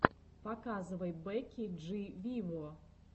показывай бекки джи виво